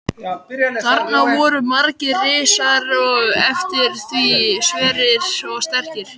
Þarna voru margir risar og eftir því sverir og sterkir.